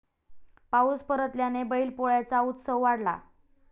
पाऊस परतल्याने बैल पोळ्याचा उत्साह वाढला